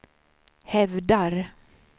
hävdar